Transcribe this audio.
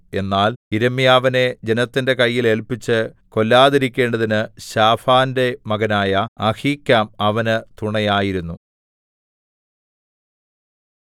എന്നാൽ യിരെമ്യാവിനെ ജനത്തിന്റെ കയ്യിൽ ഏല്പിച്ച് കൊല്ലാതിരിക്കേണ്ടതിന് ശാഫാന്റെ മകനായ അഹീക്കാം അവന് തുണയായിരുന്നു